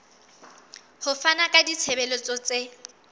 ho fana ka ditshebeletso tse